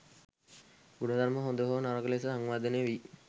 ගුණධර්ම හොඳ හෝ නරක ලෙස සංවර්ධනය වී